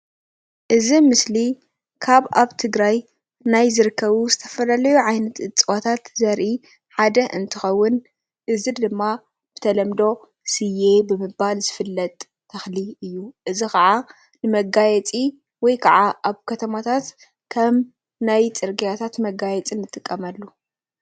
እዚ ምስሊ ካብ ኣብ ትግራይ ናይ ዝርከቡ ናይ ዝተፈላለዩ ዓይነታት እፅዋታት ዘርኢ ሓደ እንትከውን እዚ ድማ ብተለምዶ ስየ ብምባል ዝፍለጥ ተክሊ እዩ፡፡ እዚ ከዓ ንመጋየፂ ወይ ከዓ ኣብ ከተማታት ከም ናይ ፅርግያታት መጋየፂ ንጥቀመሉ፡፡